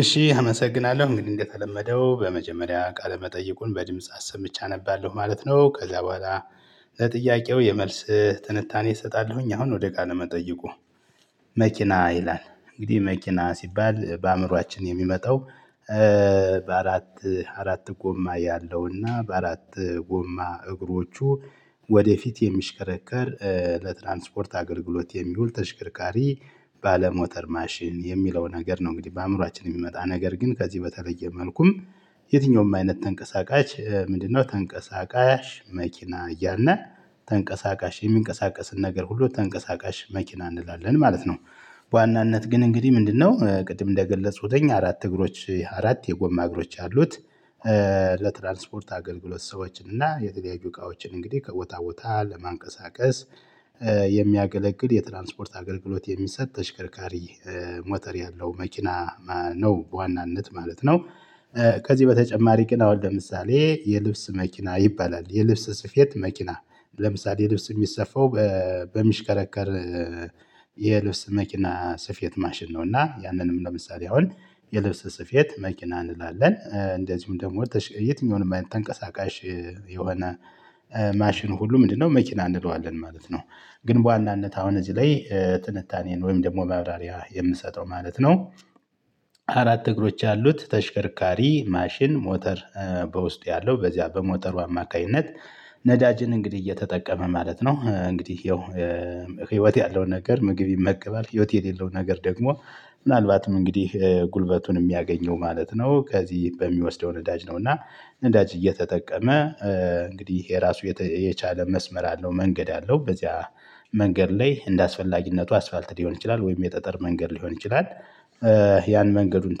እሺ አመሰግናለሁ እንግዲህ እንደተለመደው በመጀመሪያ ቃለ መጠይቁን በድምጽ አሰምቼ አነባለሁ ማለት ነው። ከዛ በኋላ ለጥያቄው የመልስ ትንታኔ እሰጣለሁኝ። አሁን ወደ ቃለመጠይቁ? መኪና ይላል እንግዲህ መኪና ሲባል በአእምሮአችን የሚመጣው በአራት አራት ጎማ ያለውና በአራት ጎማ እግሮቹ ወደፊት የሚሽከረከር ለትራንስፖርት አገልግሎት የሚውል ተሽከርካሪ ባለሞተር ማሽን የሚለው ነገር ነው። እንግዲህ በአእምሮአችን የሚመጣ ነገር ግን ከዚህ በተለየ መልኩም የትኛውም አይነት ተንቀሳቃሽ ምንድነው? ተንቀሳቃሽ መኪና እያልን ተንቀሳቃሽ የሚንቀሳቀስን ነገር ሁሉ ተንቀሳቃሽ መኪና እንላለን ማለት ነው። በዋናነት ግን እንግዲህ ምንድነው ቅድም እንደ ገለፅኩትኝ አራት እግሮች አራት የጎማ እግሮች አሉት። ለትራንስፖርት አገልግሎት ሰዎች እና የተለያዩ እቃዎችን እንግዲህ ከቦታ ቦታ ለማንቀሳቀስ የሚያገለግል የትራንስፖርት አገልግሎት የሚሰጥ ተሽከርካሪ ሞተር ያለው መኪና። ነው በዋናነት ማለት ነው። ከዚህ በተጨማሪ ቅን አሁን ለምሳሌ የልብስ መኪና ይባላል የልብስ ስፌት መኪና ለምሳሌ ልብስ የሚሰፋው በሚሽከረከር የልብስ መኪና ስፌት ማሽን ነው። እና ያንንም ለምሳሌ አሁን የልብስ ስፌት መኪና እንላለን እንደዚሁም ደግሞ የትኛውንም ተንቀሳቃሽ የሆነ ማሽን ሁሉ ምንድነው መኪና እንለዋለን ማለት ነው። ግን በዋናነት አሁን እዚህ ላይ ጥንታኔን ወይም ደግሞ ማብራሪያ የምሰጠው ማለት ነው። አራት እግሮች ያሉት ተሽከርካሪ ማሽን ሞተር በውስጥ ያለው በዚያ በሞተሩ አማካኝነት ነዳጅን እንግዲህ እየተጠቀመ ማለት ነው እንግዲህ። ይኸው ህይወት ያለው ነገር ምግብ ይመገባል ህይወት የሌለው ነገር ደግሞ ምናልባትም እንግዲህ ጉልበቱን የሚያገኘው ማለት ነው። ከዚህ በሚወስደው ነዳጅ ነው። እና ነዳጅ እየተጠቀመ እንግዲህ ይሄ ራሱ የቻለ መስመር አለው መንገድ አለው በዚያ መንገድ ላይ እንደአስፈላጊነቱ አስፋልት ሊሆን ይችላል ወይም የጠጠር መንገድ ሊሆን ይችላል። ያን መንገዱን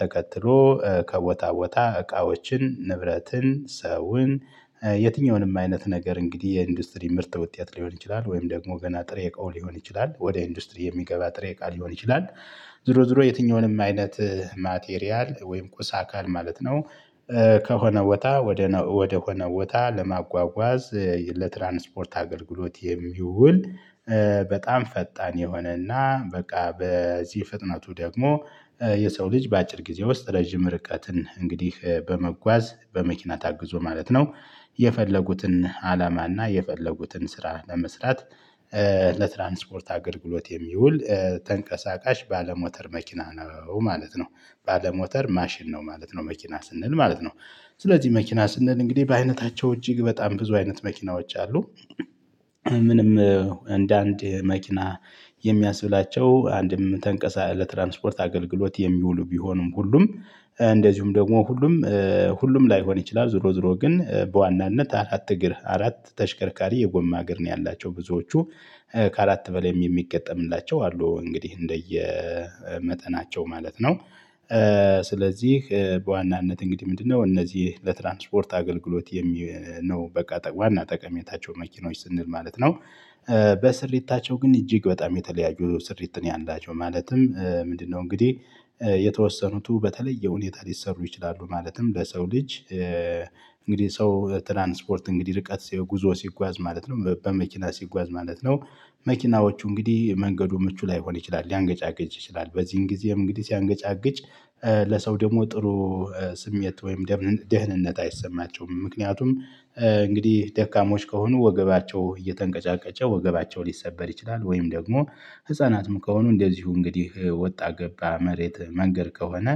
ተከትሎ ከቦታ ቦታ እቃዎችን ንብረትን ሰውን የትኛውንም አይነት ነገር እንግዲህ የኢንዱስትሪ ምርጥ ውጤት ሊሆን ይችላል ወይም ደግሞ ገና ጥሬ እቃው ሊሆን ይችላል ወደ ኢንዱስትሪ የሚገባ ጥሬ እቃ ሊሆን ይችላል። ዝሮ ዝሮ የትኛውንም አይነት ማቴሪያል ወይም ቁሳ አካል ማለት ነው። ከሆነ ወታ ወደ ወደሆነ ወታ ለማጓጓዝ ለትራንስፖርት አገልግሎት የሚውል በጣም ፈጣን የሆነና በቃ በዚህ ፍጥነቱ ደግሞ የሰው ልጅ በአጭር ጊዜ ውስጥ ረጅም ርቀትን እንግዲህ በመጓዝ በመኪና ታግዞ ማለት ነው። የፈለጉትን አላማና የፈለጉትን ስራ ለመስራት ለትራንስፖርት አገልግሎት የሚውል ተንቀሳቃሽ ባለሞተር መኪና ነው ማለት ነው። ባለሞተር ማሽን ነው ማለት ነው መኪና ስንል ማለት ነው። ስለዚህ መኪና ስንል እንግዲህ በአይነታቸው እጅግ በጣም ብዙ አይነት መኪናዎች አሉ። ምንም እንደ አንድ መኪና የሚያስብላቸው አንድም ተንቀሳ ለትራንስፖርት አገልግሎት የሚውሉ ቢሆኑም ሁሉም እንደዚሁም ደግሞ ሁሉም ሁሉም ላይሆን ይችላል። ዝሮ ዝሮ ግን በዋናነት አራት እግር አራት ተሽከርካሪ የጎማ እግር ነው ያላቸው ብዙዎቹ ካከአራት በላይም የሚገጠምላቸው አሉ እንግዲህ። መጠናቸው ማለት ነው። ስለዚህ በዋናነት እንግዲህ ምንድነው? እነዚህ ለትራንስፖርት አገልግሎት የሚል ነው በቃ ዋና ጠቀሜታቸው መኪኖች ስንል ማለት ነው። በስሪታቸው ግን እጅግ በጣም የተለያዩ ስሪት ነው ያላቸው ማለትም ምንድነው? እንግዲህ የተወሰኑቱ በተለየ ሁኔታ ሊሰሩ ይችላሉ። ማለትም በሰው ልጅ እንግዲህ ሰው ትራንስፖርት እንግዲህ ርቀት ጉዞ ሲጓዝ ማለት ነው በመኪና ሲጓዝ ማለት ነው። መኪናዎቹ እንግዲህ መንገዱ ምቹ ላይሆን ይችላል ሊያንገጫግጭ ይችላል በዚህም ጊዜም እንግዲህ ሲያንገጫግጭ። ለሰው ደግሞ ጥሩ ስሜት ወይም ደህንነት አይሰማቸውም። ምክንያቱም እንግዲህ ደካሞች ከሆኑ ወገባቸው እየተንቀጫቀጨ ወገባቸው ሊሰበር ይችላል። ወይም ደግሞ ህፃናትም ከሆኑ እንደዚሁ እንግዲህ ወጣ ገባ መሬት መንገድ ከሆነ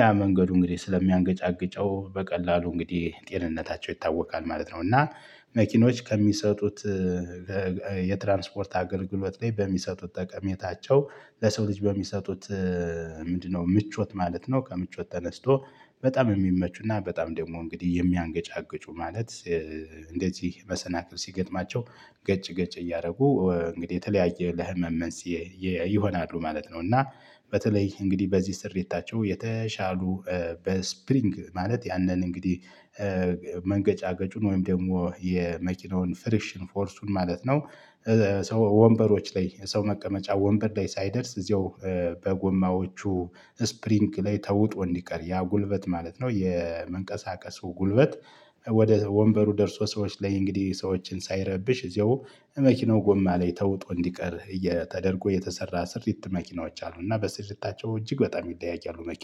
ያ መንገዱ እንግዲህ ስለሚያንገጫግጨው በቀላሉ እንግዲህ ጤንነታቸው ይታወካል ማለት ነው። እና መኪኖች ከሚሰጡት የትራንስፖርት አገልግሎት ላይ በሚሰጡት ጠቀሜታቸው ለሰው ልጅ በሚሰጡት ምንድነው ምቾት ማለት ነው። ከምቾት ተነስቶ በጣም የሚመቹና በጣም ደግሞ እንግዲህ የሚያንገጫግጩ ማለት። እንደዚህ መሰናክል ሲገጥማቸው ገጭ ገጭ እያደረጉ እንግዲህ የተለያየ ለህመም መንስኤ ይሆናሉ ማለት ነው። እና በተለይ እንግዲህ በዚህ ስሪታቸው የተሻሉ በስፕሪንግ ማለት ያንን እንግዲህ መንገጫገጩን ወይም ደግሞ የመኪናውን ፍሪሽን ፎርሱን ማለት ነው። ሰው ወንበሮች ላይ ሰው መቀመጫ ወንበድ ላይ ሳይደርስ እዚያው በጎማዎቹ ስፕሪንግ ላይ ተውጦ እንዲቀር ያ ጉልበት ማለት ነው። የመንቀሳቀሱ ጉልበት። ወደ ወንበሩ ደርሶ ሰዎች ላይ እንግዲህ ሰዎችን ሳይረብሽ እዚያው መኪናው ጎማ ላይ ተውጦ እንዲቀር እየተደረጉ የተሰራ ስርት መኪኖች አሉና በስሪታቸው እጅግ በጣም ይለያያሉ መኪኖች